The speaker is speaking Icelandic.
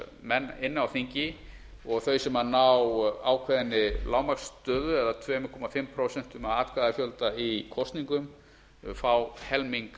menn á þingi og þau sem ná ákveðinni lágmarksstöðu eða tvö og hálft prósent af atkvæðafjölda í kosningum fá helming